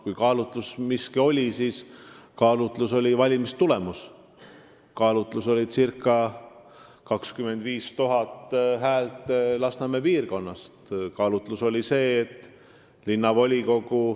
Kui mingi kaalutlus oli, siis see oli valimistulemus, see oli circa 25 000 häält Lasnamäe piirkonnast.